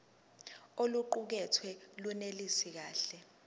oluqukethwe lunelisi kahle